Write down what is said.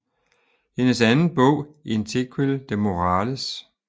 Hendes anden bog In Tequil de Morrales